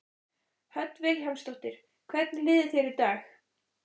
Hödd Vilhjálmsdóttir: Hvernig líður þér í dag?